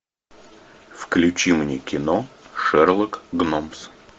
включи мне кино шерлок гномс